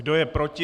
Kdo je proti?